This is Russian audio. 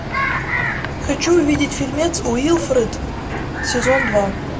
хочу увидеть фильмец уилфред сезон два